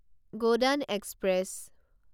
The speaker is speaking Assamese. গোদান এক্সপ্ৰেছ